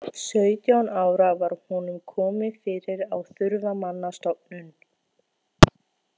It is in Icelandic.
Sautján ára var honum komið fyrir á þurfamannastofnun.